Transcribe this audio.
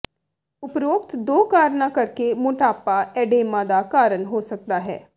ਉਪਰੋਕਤ ਦੋ ਕਾਰਨਾਂ ਕਰਕੇ ਮੋਟਾਪਾ ਐਡੇਮਾ ਦਾ ਕਾਰਨ ਹੋ ਸਕਦਾ ਹੈ